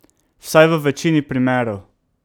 Vsaj v večini primerov.